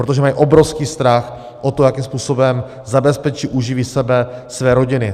Protože mají obrovský strach o to, jakým způsobem zabezpečí, uživí sebe, své rodiny.